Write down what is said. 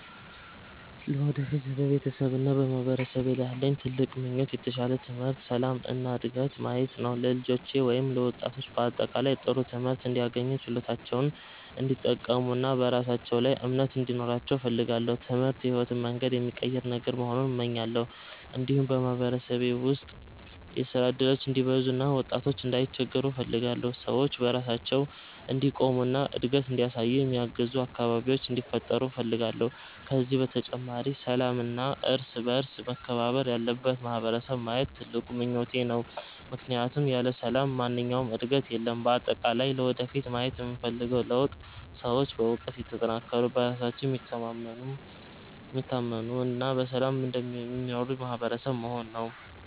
ለወደፊት በቤተሰቤና በማህበረሰቤ ላይ ያለኝ ትልቅ ምኞት የተሻለ ትምህርት፣ ሰላም እና ዕድገት ማየት ነው። ለልጆቼ ወይም ለወጣቶች በአጠቃላይ ጥሩ ትምህርት እንዲያገኙ፣ ችሎታቸውን እንዲጠቀሙ እና በራሳቸው ላይ እምነት እንዲኖራቸው እፈልጋለሁ። ትምህርት የሕይወትን መንገድ የሚቀይር ነገር መሆኑን እመኛለሁ። እንዲሁም በማህበረሰቤ ውስጥ የሥራ እድሎች እንዲበዙ እና ወጣቶች እንዳይቸገሩ እፈልጋለሁ። ሰዎች በራሳቸው እንዲቆሙ እና እድገት እንዲያሳዩ የሚያግዙ አካባቢዎች እንዲፈጠሩ እፈልጋለሁ። ከዚህ በተጨማሪ ሰላምና እርስ በእርስ መከባበር ያለበት ማህበረሰብ ማየት ትልቁ ምኞቴ ነው፣ ምክንያቱም ያለ ሰላም ማንኛውም ዕድገት የለም። በአጠቃላይ ለወደፊት ማየት የምፈልገው ለውጥ ሰዎች በእውቀት የተጠናከሩ፣ በራሳቸው የሚታመኑ እና በሰላም የሚኖሩ ማህበረሰብ መሆን ነው።